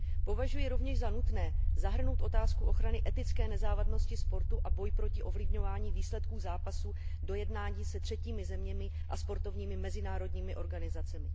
Považuji rovněž za nutné zahrnout otázku ochrany etické nezávadnosti sportu a boj proti ovlivňování výsledků zápasů do jednání se třetími zeměmi a sportovními mezinárodními organizacemi.